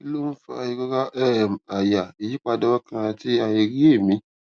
kí ló ń fa ìrora um àyà ìyípadà ọkàn àti àìrí èmí